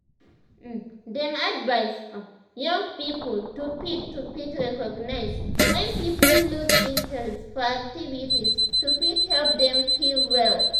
um dem advice um young people to fit to fit recognize wen people loose interest for activities to fit help dem heal well